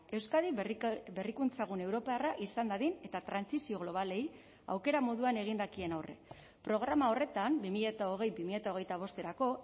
euskadi berrikuntza gune europarra izan dadin eta trantsizio globalei aukera moduan egin dakien horrek programa horretan bi mila hogei bi mila hogeita bosterako